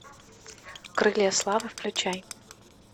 крылья славы включай